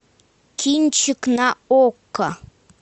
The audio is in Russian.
кинчик на окко